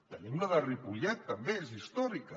tenim la de ripollet també és històrica